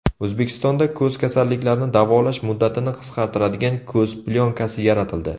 O‘zbekistonda ko‘z kasalliklarini davolash muddatini qisqartiradigan ko‘z plyonkasi yaratildi.